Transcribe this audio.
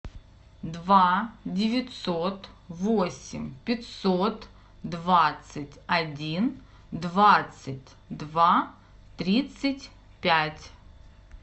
два девятьсот восемь пятьсот двадцать один двадцать два тридцать пять